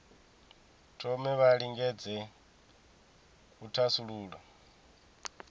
thome vha lingedze u thasulula